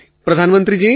અખિલ પ્રધાનમંત્રીજી